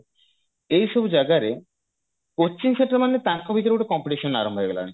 ଏଇ ସବୁ ଜାଗାରେ coaching centre ମାନେ ତାଙ୍କ ଭିତରେ ଗୋଟେ competition ଆରମ୍ଭ ହେଇଗଲାଣି